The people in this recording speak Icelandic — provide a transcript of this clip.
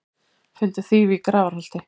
Fundu þýfi í Grafarholti